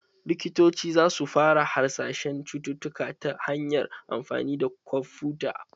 Likitoci za su fara hasashen cututtuka ta hanyar amfani da kwamfuta.